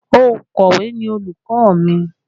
Ònkọ̀wé ni olùkọ́ mi